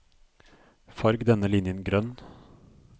Farg denne linjen grønn